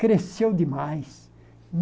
Cresceu demais.